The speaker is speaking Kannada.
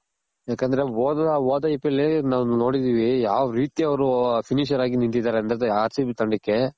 ಯಾಕಂದ್ರೆ ಓದ್ ಓದ IPL ಅಲ್ಲಿ ನಾವ್ ನೋಡಿದಿವಿ ಯಾವ್ ರೀತಿ ಅವ್ರು finisher ಆಗಿ ನಿಂತಿದಾರೆ ಅಂದ್ರೆ R CB ತಂಡಕ್ಕೆ.